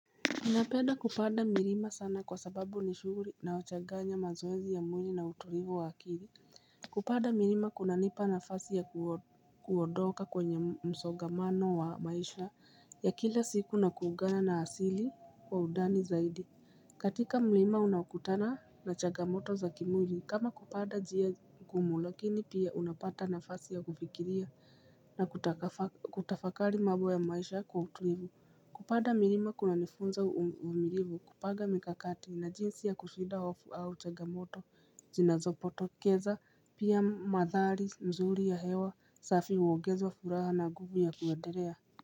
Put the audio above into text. Ninapenda kupanda milima sana kwa sababu ni shuguli inayochanganya mazoezi ya mwili na utulivu wa akili. Kupanda milima kunanipa nafasi ya kuondoka kwenye msogamano wa maisha ya kila siku na kuungana na asili kwa undani zaidi. Katika mlima unakutana na changamoto za kimwili, kama kupanda njia gumu, lakini pia unapata nafasi ya kufikiria na kutafakari mau ya maisha kwa utulivu. Kupanda milima kuna nifunza uvumulilivu kupanga mikakati na jinsi ya kushida off out chagamoto. Zinazotopokeza pia madhari mzuri ya hewa safi uongezwa furaha na nguvu ya kuuendelea.